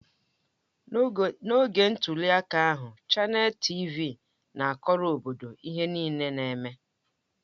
N'oge ntuli aka ahụ, Chanel TịVị na-akọrọ obodo ihe niile na-eme.